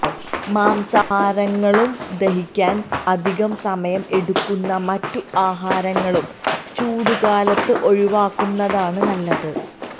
മാംസാഹാരങ്ങളും ദഹിക്കാൻ അധിക സമയം എടുക്കുന്ന മറ്റു ആഹാരങ്ങളും ചൂടുകാലത്ത് ഒഴിവാക്കുന്നതാണ് നല്ലത്